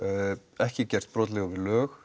ekki gerst brotlegur við lög